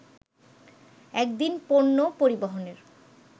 এক দিন পণ্য পরিবহনের